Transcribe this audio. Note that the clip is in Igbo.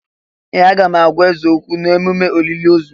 Ee! Aga m agwa eze okwu n'ememme olili ozù.